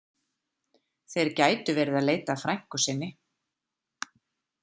Þeir gætu verið að leita að frænku sinni.